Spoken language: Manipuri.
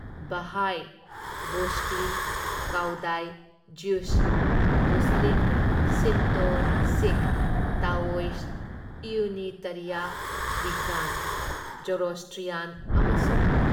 Baha'i, Buddhist, Cao Dai, Jewish, Muslim, Shinto, Sikh, Taoist, Unitarian, Wiccan, Zoroastrian ꯑꯃꯁꯨꯡ